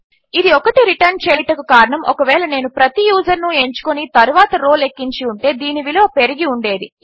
ఇది 1 రిటర్న్ చేయుటకు కారణము ఒకవేళ నేను ప్రతి యూజర్ను ఎంచుకొని తరువాత రౌ లెక్కించి ఉంటే దీని విలువ పెరిగి ఉండేది